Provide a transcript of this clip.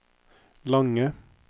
lange